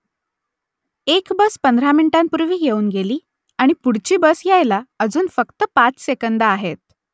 एक बस पंधरा मिनिटांपूर्वी येऊन गेली आणि पुढची बस यायला अजून फक्त पाच सेकंदं आहेत